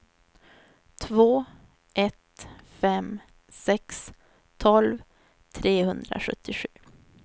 två ett fem sex tolv trehundrasjuttiosju